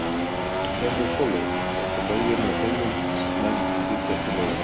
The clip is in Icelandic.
Jómfrú Sóley setti lögin og heimilismenn brutu ekki lögin.